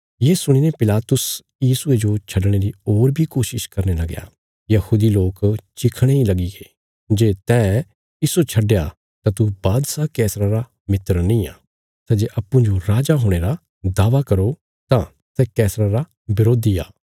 ये सुणीने पिलातुस यीशुये जो छडणे री होर बी कोशिश करने लगया यहूदी लोक चिखणे इ लगीगे जे तैं इस्सो छडया तां तू बादशाह कैसरा रा मित्र निआं सै जे अप्पूँजो राजा हुणे रा दावा करो तां सै कैसरा रा बरोधी आ